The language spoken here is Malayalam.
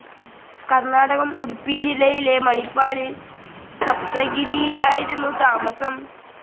കർണാടകം ഉഡുപ്പി ജില്ലയിലെ മണിപ്പാലിൽ സപ്തഗിരിയിലായിരുന്നു താമസം.